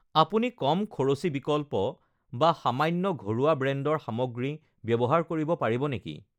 আপুনি কম খৰচী বিকল্প বা সামান্য বা ঘৰুৱা ব্ৰেণ্ডৰ সামগ্ৰী ব্যৱহাৰ কৰিব পাৰিব নেকি?